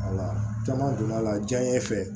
caman donna la diɲɛ fɛ